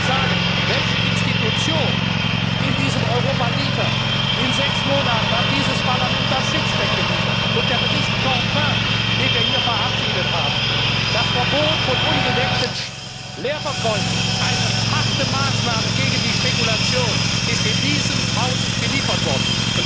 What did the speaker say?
Ich will Ihnen sagen, welche Institution in diesem Europa liefert In sechs Monaten hat dieses Parlament das Sixpack geliefert, und der Bericht Canfin, den wir hier verabschiedet haben, das Verbot von ungedeckten Leerverkäufen eine harte Maßnahme gegen die Spekulation ist in diesem Hause geliefert worden.